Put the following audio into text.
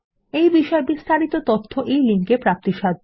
এই বিষয়ে বিস্তারিত তথ্য এই লিঙ্কে প্রাপ্তিসাধ্য